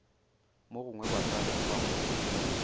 mogongwe ba tla lemoga gore